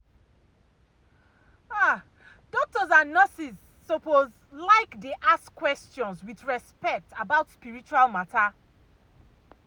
ah doctors and nurses suppose like dey ask questions with respect about spiritual matter.